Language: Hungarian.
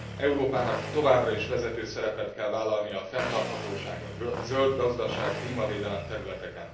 Európának továbbra is vezető szerepet kell vállalnia a fenntarthatóság, a zöld gazdaság, a klímavédelem területén.